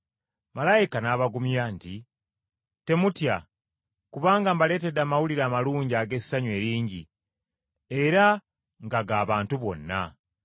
Malayika n’abagumya nti, “Temutya, kubanga mbaleetedde amawulire amalungi ag’essanyu eringi, era nga ga bantu bonna.